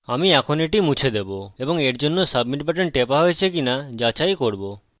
আমি এখন এটি মুছে দেবো এবং এরজন্য submit বাটন টেপা হয়েছে কিনা যাচাই করব